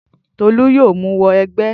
Tolú yóò mú wọ ẹgbẹ́